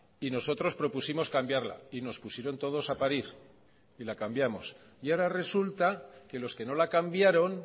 y nosotros propusimos cambiarla y nos pusieron todos a parir y la cambiamos y ahora resulta que los que no la cambiaron